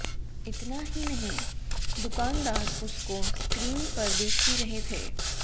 इतना ही नहीं दुकानदार उसको स्क्रीम पर देख भी रहे थे